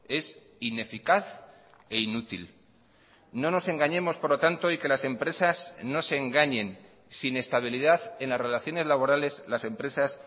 es ineficaz e inútil no nos engañemos por lo tanto y que las empresas no se engañen sin estabilidad en las relaciones laborales las empresas